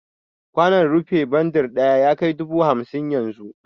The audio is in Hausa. Kwanon rufi bandir ɗaya yakai dubu hamsin yanzu